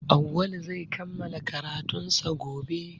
Auwalu zai kammala karatunsa gobe